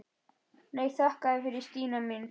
Nei, þakka þér fyrir Stína mín.